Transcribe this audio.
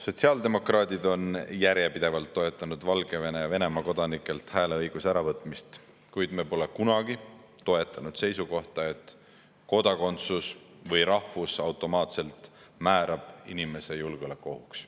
Sotsiaaldemokraadid on järjepidevalt toetanud Valgevene ja Venemaa kodanikelt hääleõiguse äravõtmist, kuid me pole kunagi toetanud seisukohta, et kodakondsus või rahvus automaatselt määrab inimese julgeolekuohuks.